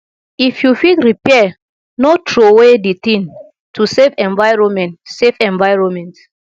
if you fit repair no trowey di thing to save environment save environment